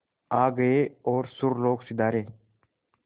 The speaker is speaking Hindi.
आ गए और सुरलोक सिधारे